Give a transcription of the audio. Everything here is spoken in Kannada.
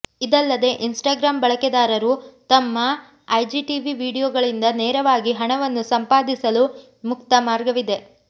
ಇದಲ್ಲದೆ ಇನ್ಸ್ಟಾಗ್ರಾಮ್ ಬಳಕೆದಾರರು ತಮ್ಮ ಐಜಿಟಿವಿ ವೀಡಿಯೊಗಳಿಂದ ನೇರವಾಗಿ ಹಣವನ್ನು ಸಂಪಾದಿಸಲು ಮುಕ್ತ ಮಾರ್ಗವಿದೆ